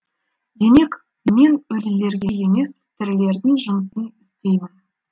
демек мен өлілерге емес тірілердің жұмысын істеймін